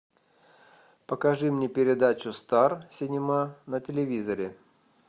покажи мне передачу стар синема на телевизоре